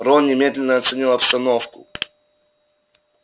рон немедленно оценил обстановку